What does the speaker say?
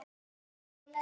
Hins vegar